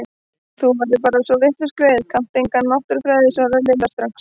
Þú ert bara svo vitlaus greyið, kannt enga náttúrufræði svaraði Lilla strax.